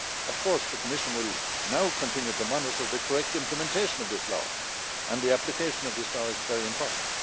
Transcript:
Of course, the Commission will now continue to monitor the correct implementation of this law, and the application of this law is very important.